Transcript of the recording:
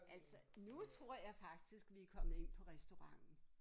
Altså nu tror jeg faktisk vi er kommet ind på restauranten